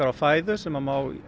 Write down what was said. fæðu sem að má